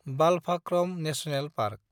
Balphakram national park